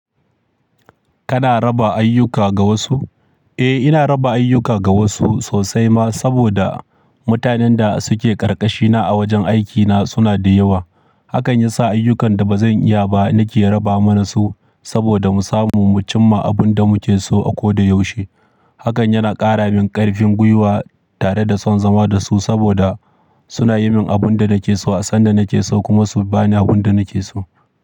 Kana raba ayyuka ga wasu? Eh, ina raba ayyuka ga wasu sosai ma saboda mutanen da suke ƙarƙashina a wajen aikina suna da yawa. Hakan yasa ayyukan da bazan iya ba nake raba mana su saboda mu samu mu cimma abin da muke so a koda yaushe. Hakan yana ƙara min ƙarfin gwiwa tare da son zama da su saboda suna yi min abin da nake so, a sanda nake so kuma su bani abin da nake so.